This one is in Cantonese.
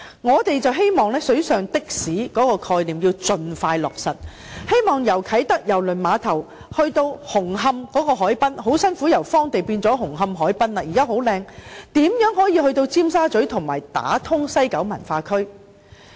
我們認為"水上的士"的概念應盡快落實，希望由啟德郵輪碼頭可前往紅磡海濱——該處幾經艱辛由荒地變成十分漂亮的紅磡海濱——如何可以從啟德郵輪碼頭前往尖沙咀，以及打通西九文化區？